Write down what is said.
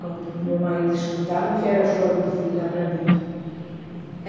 Quando meu marido escutava, já era o choro do filho lá para dentro.